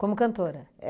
Como cantora?